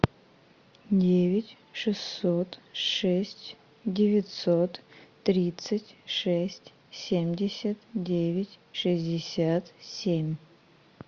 девять шестьсот шесть девятьсот тридцать шесть семьдесят девять шестьдесят семь